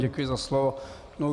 Děkuji za slovo.